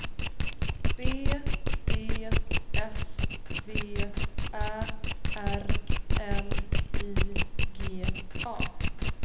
B E S V Ä R L I G A